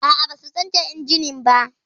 A'a, ba su canja injimin ba